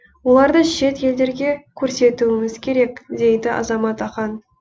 оларды шет елдерге көрсетуіміз керек дейді азамат ақан